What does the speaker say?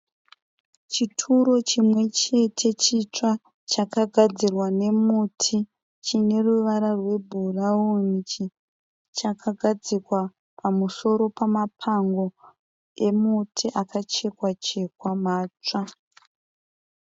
Chituru chimwe chete chitsva chakagadzirwa nemuti chine ruvara rwebhurauni. Chakagadzirwa pamusoro pamapango emuti akachekwa chekwa matsva.